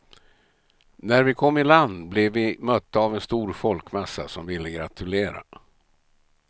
När vi kom i land blev vi mötta av en stor folkmassa som ville gratulera.